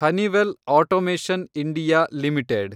Honeywell automation India limited